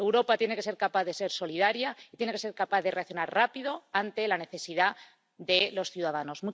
Europa tiene que ser capaz de ser solidaria y tiene que ser capaz de reaccionar rápido ante la necesidad de los ciudadanos.